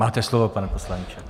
Máte slovo, pane poslanče.